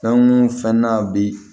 Fɛn nun fɛn na bi